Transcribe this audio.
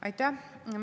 Aitäh!